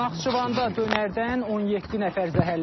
Naxçıvanda dönərdən 17 nəfər zəhərlənib.